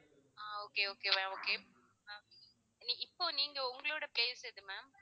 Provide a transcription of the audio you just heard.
ஆஹ் okay okay ma'am okay ah நீ~ இப்போ நீங்க உங்களுடைய place எது ma'am